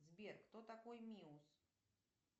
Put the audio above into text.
сбер кто такой миус